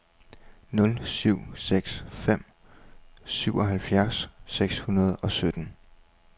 nul syv seks fem syvoghalvfjerds seks hundrede og sytten